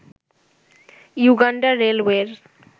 Uganda রেলওয়ের